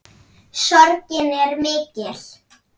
Sorgin er mikill.